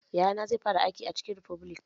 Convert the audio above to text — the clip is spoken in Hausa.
Yayana zai fara aiki a chicken refubilik